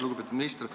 Lugupeetud minister!